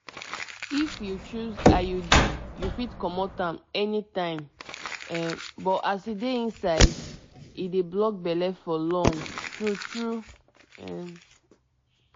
if you choose iud you fit comot am anytime um but as e dey inside e dey block belle for long true true um